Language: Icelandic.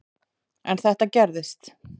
En þetta gerist.